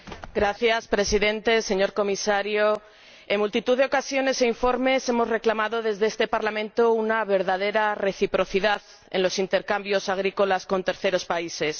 Señor Presidente, señor Comisario, en multitud de ocasiones e informes hemos reclamado desde este Parlamento una verdadera reciprocidad en los intercambios agrícolas con terceros países.